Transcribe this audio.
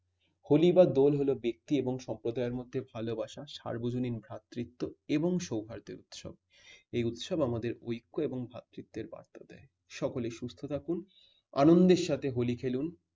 হলি বা দোল হল ব্যক্তি এবং সম্প্রদাইয়ের মধ্যে ভালোবাসা সার্বজনীন ভ্রাতৃত্ব এবং সৌহার্দের বিষয়। এই উৎসব আমাদের ঐক্য এবং ভ্রাতৃত্বের বার্তা দেয় । সকলেই সুস্থ থাকুন। আনন্দের সাথে হলি খেলুন।